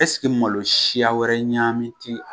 Ɛ sike malo siya wɛrɛ ɲami ti a